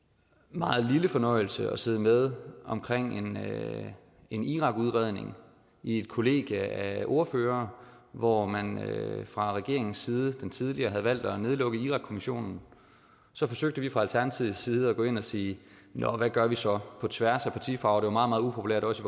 meget lille fornøjelse at sidde med omkring en irak udredning i et kollegie af ordførere hvor man fra regeringens side den tidligere havde valgt at nedlukke irak kommissionen så forsøgte vi fra alternativets side at gå ind og sige nå hvad gør vi så på tværs af partifarver det var meget meget upopulært også